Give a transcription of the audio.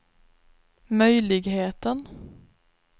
möjligheten